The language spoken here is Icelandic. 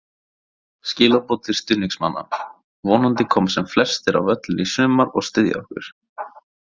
Skilaboð til stuðningsmanna: Vonandi koma sem flestir á völlinn í sumar og styðja okkur.